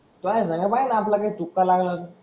चाळीस हजार .